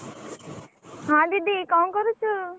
ହଁ ଦିଦି କଣ କରୁଛୁ?